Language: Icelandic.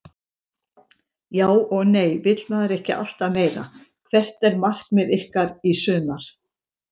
Já og nei vill maður ekki alltaf meira Hvert er markmið ykkar í sumar?